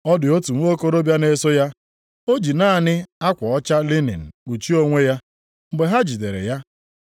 Ọ dị otu nwokorobịa na-eso ya, ọ ji naanị akwa ọcha linin kpuchie onwe ya. Mgbe ha jidere ya,